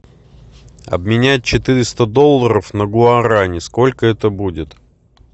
обменять четыреста долларов на гуарани сколько это будет